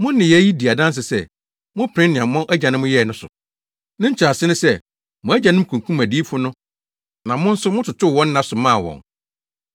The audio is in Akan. Mo nneyɛe yi di adanse sɛ mopene nea mo agyanom yɛe no so. Ne nkyerɛase ne sɛ mo agyanom kunkum adiyifo no na mo nso mototoo wɔn nna so maa wɔn.